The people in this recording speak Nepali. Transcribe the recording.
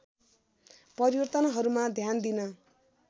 परिवर्तनहरूमा ध्यान दिन